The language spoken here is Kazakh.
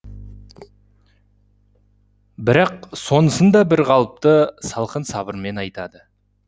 бірақ сонысын да бір қалыпты салқын сабырмен айтады